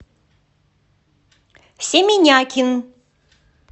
семенякин